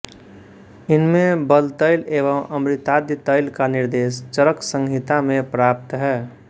इनमें बलतैल एवं अमृताद्य तैल का निर्देश चरकसंहिता में प्राप्त है